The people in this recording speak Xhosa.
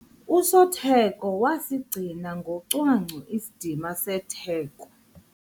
Usotheko wasigcina ngocwangco isidima setheko.